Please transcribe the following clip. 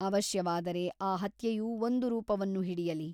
ಅವಶ್ಯವಾದರೆ ಆ ಹತ್ಯೆಯು ಒಂದು ರೂಪವನ್ನು ಹಿಡಿಯಲಿ.